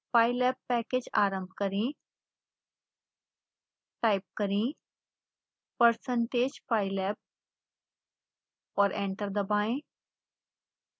pylab package आरंभ करें